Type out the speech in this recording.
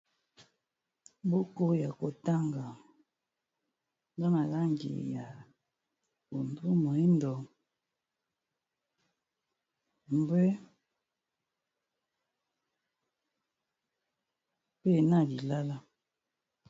Buko ya kotanga na malangi ya pondu, moyindo, mbwe mpe na lilala.